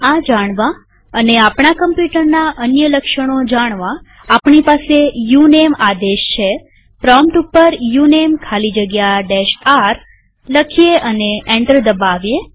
આ જાણવા અને આપણા કમ્પ્યુટરના અન્ય લક્ષણો જાણવા આપણી પાસે ઉનમે આદેશ છેપ્રોમ્પ્ટ ઉપર ઉનમે ખાલી જગ્યા r લખીએ અને એન્ટર દબાવીએ